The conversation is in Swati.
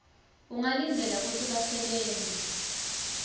ungalindzela kutsi basebenti